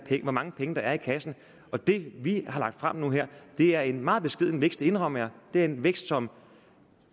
hvor mange penge der er i kassen og det vi har lagt frem nu her er en meget beskeden vækst det indrømmer jeg det er en vækst som